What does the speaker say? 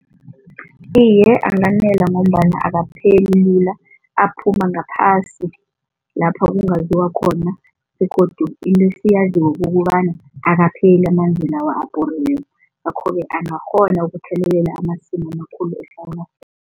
Iye, anganela ngombana akapheli lula, aphuma ngaphasi lapha kungaziwa khona begodu into esiyaziko kukobana akapheli amanzi lawa abhoriweko ngakho-ke angakghona ukuthelelela amasimu amakhulu